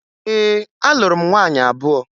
Ee, alụrụ m nwaanyị abụọ